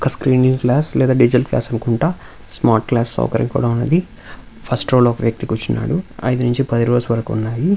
ఒక screening class లేదా digital class అనుకుంటా స్మార్ట్ క్లాస్ సౌకర్యం కూడా ఉన్నది ఫస్ట్ రో లో వ్యక్తి కూర్చున్నాడు ఐదు నుంచి పది రోస్ వరకి ఉన్నాయి.